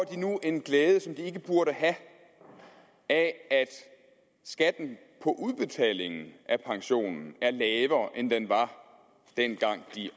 de nu en glæde som de ikke burde have af at skatten på udbetalingen af pensionen er lavere end den var dengang de